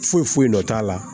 Foyi foyi nɔ t'a la